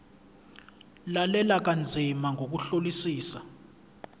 lalela kanzima ngokuhlolisisa